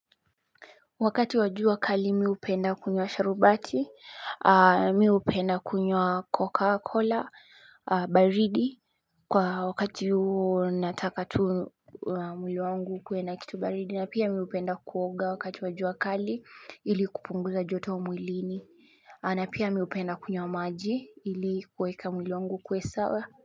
Wakati wa jua kali mi hupenda kunywa sharubati mi upenda kunywa coca cola baridi Kwa wakati nataka tu mwili wangu ukuwe na kitu baridi na pia mi upenda kuoga wakati wa jua kali ili kupunguza joto mwilini na pia mi upenda kunywa maji ili kuweka mwili wangu ukuwe sawa.